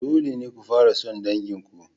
Dole ne ku fara son dangin ku.